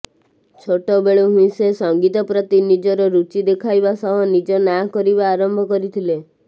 ଛୋଟବେଳୁ ହିଁ ସେ ସଙ୍ଗୀତ ପ୍ରତି ନିଜର ରୁଚି ଦେଖାଇବା ସହ ନିଜ ନାଁ କରିବା ଆରମ୍ଭ କରିଥିଲେ